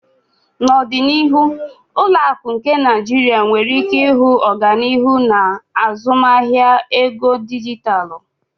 N'ọdịnihu ụlọ akụ nke Nigeria nwere ike ịhụ ọganihu n'azụmahịa ego dijitalụ.